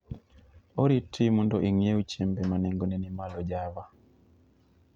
oriti mondo ing'iew chiembe ma nengone ni malo java